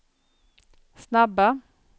snabba